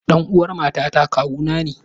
Ɗan'uwar mamata kawuna ne.